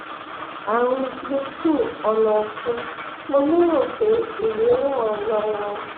ààrùn gluten ọnà ọfun mo lérò pé èyí ràn án lọwọ